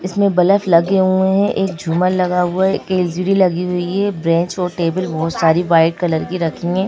इसमें ब्लफ लगे हुए हैं एक झूमर लगा हुआ है एक एल_सी_डी लगी हुई है ब्रेंच और टेबल बहुत सारी वाइट कलर की रखी है।